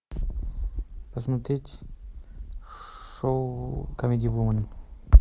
посмотреть шоу камеди вумен